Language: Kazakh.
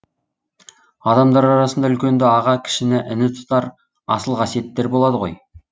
адамдар арасында үлкенді аға кішіні іні тұтар асыл қасиеттер болады ғой